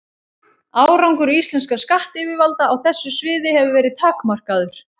Árangur íslenskra skattyfirvalda á þessu sviði hefur verið takmarkaður.